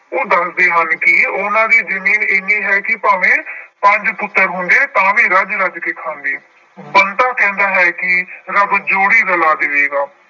ਉਹ ਦੱਸਦੇ ਹਨ ਕਿ ਉਹਨਾਂ ਦੀ ਜ਼ਮੀਨ ਇੰਨੀ ਹੈ ਕਿ ਭਾਵੇਂ ਪੰਜ ਪੁੱਤਰ ਹੁੰਦੇ ਤਾਂ ਵੀ ਰੱਜ-ਰੱਜ ਕੇ ਖਾਂਦੇ। ਬੰਤਾ ਕਹਿੰਦਾ ਹੈ ਕਿ ਰੱਬ ਜੋੜੀ ਰਲਾ ਦੇਵੇਗਾ।